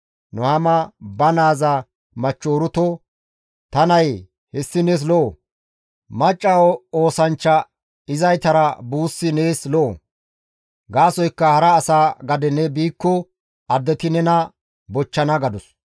Nuhaama ba naaza machcho Uruto, «Ta nayee, hessi nees lo7o; macca oosanchcha izaytara buussi nees lo7o; gaasoykka hara asa gade ne biikko addeti nena bochchana» gadus.